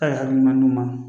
A ye hakilina d'u ma